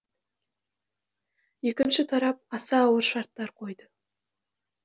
екінші тарап аса ауыр шарттар қойды